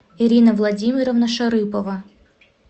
ирина владимировна шарыпова